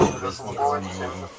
Orada nəsə var idi.